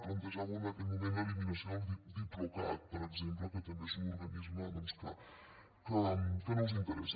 plantejàveu en aquell moment l’eliminació del diplocat per exemple que també és un organisme doncs que no us interessa